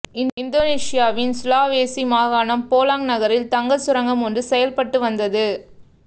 இந்தோனேசியாவின் சுலாவேசி மாகாணம் போலாங் நகரில் தங்க சுரங்கம் ஓன்று செயல்பட்டு வந்தது